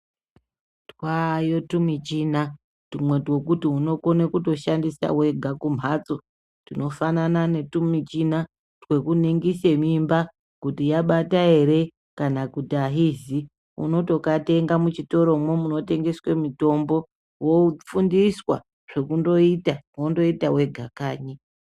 Twaayo tumichina, twumwe twekuti unokone kutoshandisa wega kumhatso. Tunofanana netumichina twekuningise mimba kuti yabata ere kana kuti ahizi. Unotokatenga muchitoromwo munotengeswe mitombo wofundiswa zvekundoita wondoita wega kanyi.